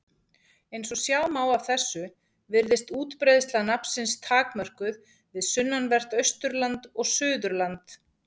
Eins og sjá má af þessu virðist útbreiðsla nafnsins takmörkuð við sunnanvert Austurland og Suðurland.